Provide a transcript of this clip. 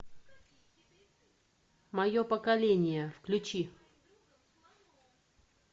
мое поколение включи